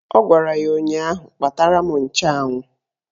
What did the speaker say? Ọ gwara ya ụnyaahụ "Kpatara m nchụanwụ"!